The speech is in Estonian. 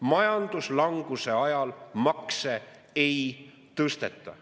Majanduslanguse ajal makse ei tõsteta.